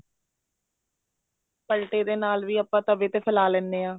ਪਲਟੇ ਦੇ ਨਾਲ ਵੀ ਆਪਾਂ ਤਵੇ ਤੇ ਫੈਲਾ ਲੈਂਦੇ ਹਾਂ